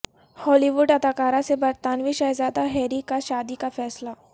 ہالی ووڈ اداکارہ سے برطانوی شہزادہ ہیری کا شادی کا فیصلہ